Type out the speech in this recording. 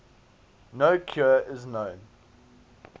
no cure is known